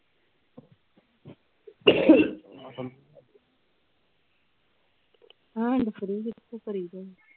handfree ਕਿਤੋਂ ਕਰੀਦਾ